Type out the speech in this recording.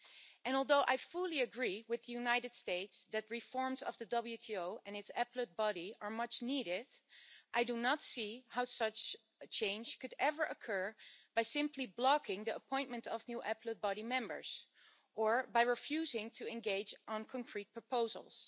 And although I fully agree with the United States that reforms of the WTO and its Appellate Body are much needed, I do not see how such a change could ever occur by simply blocking the appointment of new Appellate Body members or by refusing to engage on concrete proposals.